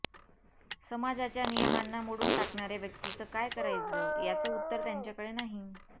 समाजाच्या नियमांना मोडून टाकणाऱ्या व्यक्तीचं काय करायचं ह्याचं उत्तर त्यांच्याकडे नाही